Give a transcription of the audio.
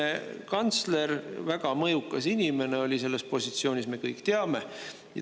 Esiteks, endine kantsler oli väga mõjukas inimene selles positsioonis, me kõik teame.